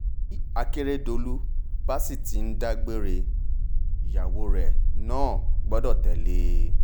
bí akérèdọ̀lù bá sì ti ń dá gbélé ìyàwó rẹ̀ náà gbọ́dọ̀ tẹ̀lé e